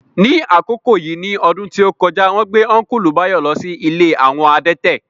Ní àkókò yìí ní ọdún tí ó kọjá, wón gbé Ọ́nkùlù Báyọ̀ lọ sí ilé àwọn adẹ́tẹ̀